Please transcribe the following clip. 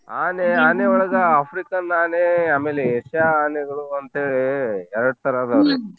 ಆನೆ ಆನೆ ಒಳಗ ಆಫ್ರಿಕನ್ ಆನೆ ಆಮೇಲೆ ಏಷ್ಯಾ ಆನೆಗಳು ಅಂತೇಳಿ ಎರಡ್ ತರ ಅದಾವ್.